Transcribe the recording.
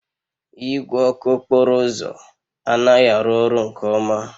Igwe ọkụ okporo ụzọ anaghị arụ ọrụ nke ọma